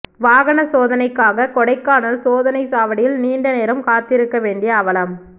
வாகனச் சோதனைக்காக கொடைக்கானல் சோதனைச் சாவடியில் நீண்ட நேரம் காத்திருக்க வேண்டிய அவலம்